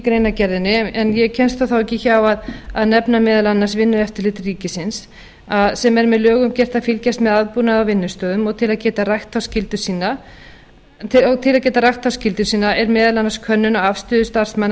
greinargerðinni en ég kemst þó ekki hjá að nefna meðal annars vinnueftirlit ríkisins sem er með lögum gert að fylgjast með aðbúnaði á vinnustöðum og til að geta rækt þá skyldu sína er meðal annars könnun á afstöðu starfsmanna